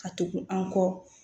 Ka tugu an kɔ